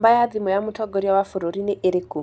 Namba ya thimũ ya mũtongoria wa bũrũri nĩ ĩrĩkũ?